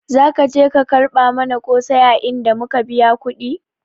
Zaka ka je ka barka mana kosai a inda muka biya kudi?